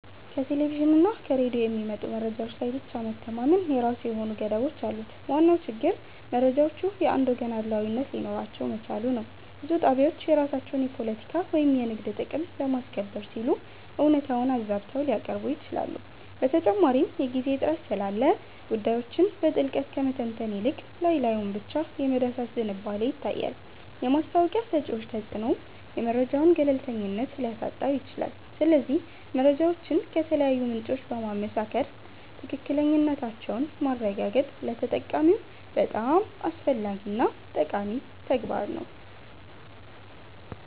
ከቴሌቪዥንና ከሬዲዮ የሚመጡ መረጃዎች ላይ ብቻ መተማመን የራሱ የሆኑ ገደቦች አሉት። ዋናው ችግር መረጃዎቹ የአንድ ወገን አድሏዊነት ሊኖራቸው መቻሉ ነው። ብዙ ጣቢያዎች የራሳቸውን የፖለቲካ ወይም የንግድ ጥቅም ለማስከበር ሲሉ እውነታውን አዛብተው ሊያቀርቡ ይችላሉ። በተጨማሪም የጊዜ እጥረት ስላለ ጉዳዮችን በጥልቀት ከመተንተን ይልቅ ላይ ላዩን ብቻ የመዳሰስ ዝንባሌ ይታያል። የማስታወቂያ ሰጪዎች ተጽዕኖም የመረጃውን ገለልተኝነት ሊያሳጣው ይችላል። ስለዚህ መረጃዎችን ከተለያዩ ምንጮች በማመሳከር ትክክለኛነታቸውን ማረጋገጥ ለተጠቃሚው በጣም አስፈላጊና ጠቃሚ ተግባር ነው